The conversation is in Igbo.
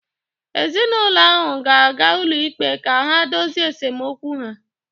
Ezinụlọ ahụ ga-aga ụlọikpe ka ha dozie esemokwu ha